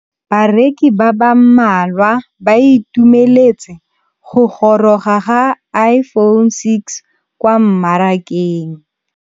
Bareki ba ba malwa ba ituemeletse go gôrôga ga Iphone6 kwa mmarakeng.